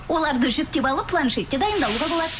оларды жүктеп алып планшетке дайындалуға болады